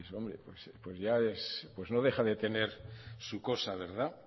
no deja de tener su cosa